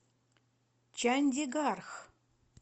чандигарх